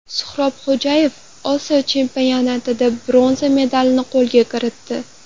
Suxrob Xo‘jayev Osiyo chempionatida bronza medalni qo‘lga kiritdi.